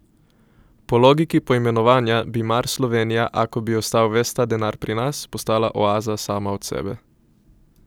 Po logiki poimenovanja, bi mar Slovenija, ako bi ostal ves ta denar pri nas, postala oaza sama od sebe?